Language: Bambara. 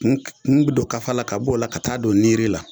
Kun k kun don kafa la ka b'o la ka taa'a don niiri la